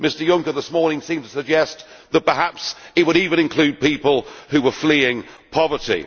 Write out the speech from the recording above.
Mr Juncker, this morning, seemed to suggest that perhaps he would even include people who were fleeing poverty.